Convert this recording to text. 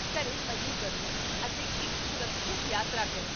ਘਰੇ ਮਜ਼ੇ ਕਰੋ, ਅਤੇ ਇੱਕ ਸੁਰੱਖਿਅਤ ਯਾਤਰਾ ਕਰੋ